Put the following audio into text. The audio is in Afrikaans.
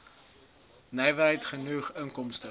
nywerheid genoeg inkomste